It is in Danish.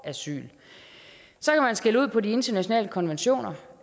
asyl så kan man skælde ud på de internationale konventioner